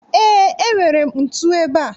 Ee, enwere m ntu ebea